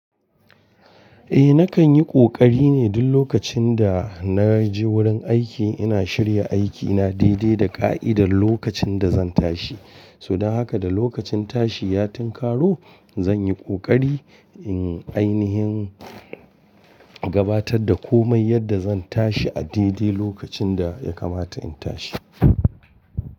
Eh nakan yi ƙoƙari ne duk lokacin da na je wurin aiki ina shirya aiki, ina daidaita ƙa'idar lokacin da zan tashi. Saboda haka da lokacin tashi ya tinkaro, zan yi kokari in ainihin gabatar da komai yadda zan tashi a daidai lokacin da ya kamata in tashi.